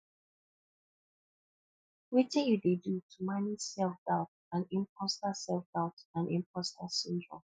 wetin you dey do to manage selfdoubt and imposter selfdoubt and imposter syndrome